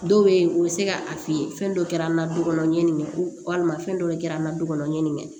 Dɔw bɛ yen u bɛ se ka a f'i ye fɛn dɔ kɛra an na du kɔnɔ ɲɛ nin kɛ ko walima fɛn dɔ kɛra an na dukɔnɔ ɲɛ nin